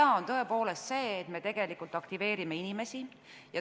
Hea on tõepoolest see, et me tegelikult aktiveerime inimesi.